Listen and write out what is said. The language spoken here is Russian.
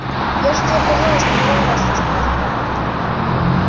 я же тебе про золушку миллион раз рассказывала